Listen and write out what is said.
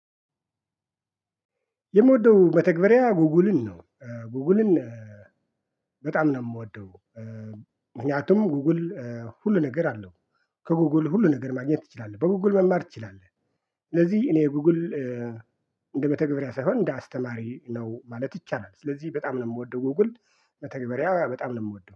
የምወደው መተግባርያ ጉግልን ነው እ ጉግልን በጣም ነው የምወደው። እ ምክንያቱም ጉግል እ ሁሉ ነገር አለው ከጉግል ሁሉ ነገር ማግኘት ትችላለህ በጉግል መማር ትችላለህ። ስለዚህ እኔ ጉግል እ እንደ መተግብርያ ሳይሆን እንደ አስተማሪ ነው ማለት ይቻላል። ስለዚህ በጣም ነው የምወደው ጉግል መተግበሪያ በጣም ነው የምወደው